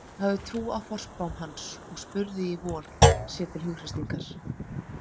Hún hafði trú á forspám hans og spurði í von, sér til hughreystingar.